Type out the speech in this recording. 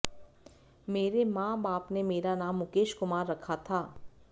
मेरे मां बाप ने मेरा नाम मुकेश कुमार रखा था